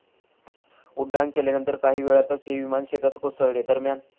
उड्डाण केल्यानंतर काही वेळातच हे विमान शेतात कोसळले. दरम्यान,.